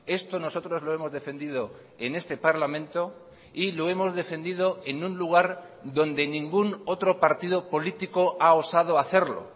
esto nosotros lo hemos defendido en este parlamento y lo hemos defendido en un lugar donde ningún otro partido político ha osado a hacerlo